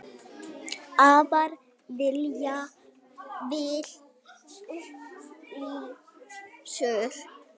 Afar vel upplýstur.